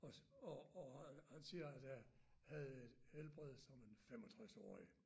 Os og og og han siger at jeg havde helbredet som en 65-årig